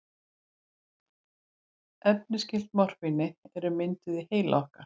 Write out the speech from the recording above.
Efni skyld morfíni eru mynduð í heila okkar.